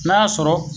N'a y'a sɔrɔ